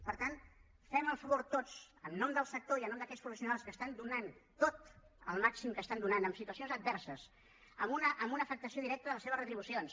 per tant fem el favor tots en nom del sector i en nom d’aquells professionals que ho estan donant tot el màxim que ho estan donant en situacions adverses amb una afectació directa de les seves retribucions